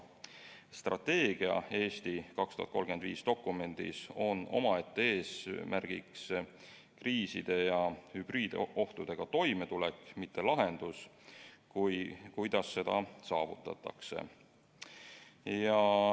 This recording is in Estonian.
Strateegia "Eesti 2035" dokumendis on omaette eesmärgiks kriiside ja hübriidohtudega toimetulek, mitte lahendus, kuidas seda saavutatakse.